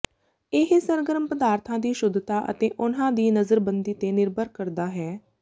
ਇਹ ਸਰਗਰਮ ਪਦਾਰਥਾਂ ਦੀ ਸ਼ੁੱਧਤਾ ਅਤੇ ਉਨ੍ਹਾਂ ਦੀ ਨਜ਼ਰਬੰਦੀ ਤੇ ਨਿਰਭਰ ਕਰਦਾ ਹੈ